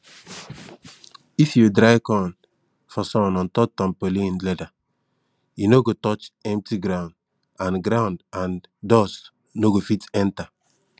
if you dry corn for sun ontop tampolin leather e no go touch empty ground and ground and dust no go fit enter